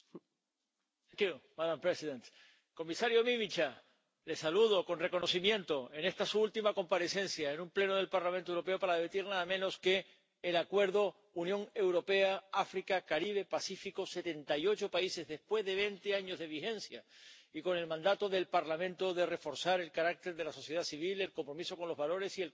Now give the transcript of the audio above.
Señora presidenta, comisario Mimica, le saludo con reconocimiento en esta su última comparecencia en un Pleno del Parlamento Europeo para debatir nada menos que el Acuerdo entre la Unión Europea y África Caribe Pacífico —setenta y ocho países— después de veinte años de vigencia, y con el mandato del Parlamento de reforzar el carácter de la sociedad civil, el compromiso con los valores y el control parlamentario.